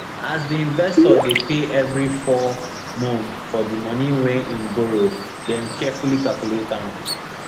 as the investor dey pay every four month for the money wey em borrow dem carefully calculate am